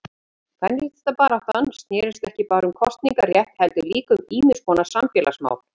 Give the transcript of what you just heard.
Kvenréttindabaráttan snérist ekki bara um kosningarétt heldur líka um ýmiskonar samfélagsmál.